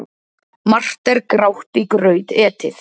Margt er grátt í graut etið.